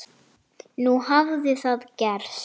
Nú hafði það gerst.